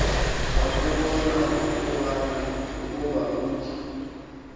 akubona ukuba utye